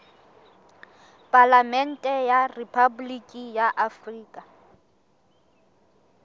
palamente ya rephaboliki ya afrika